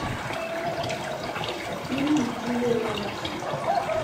фильмы с джулией робертс